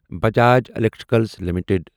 Bajaj electricals limited